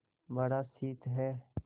बड़ा शीत है